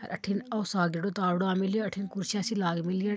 अठिन ओ सादधो तावडो आ मिलियो अठिन कुर्सिया सी लाग मिलियन--